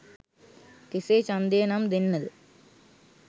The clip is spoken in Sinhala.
කෙසේ ඡන්දය නම් දෙන්නද?